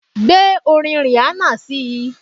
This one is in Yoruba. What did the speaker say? Gbé orin Rihanna síi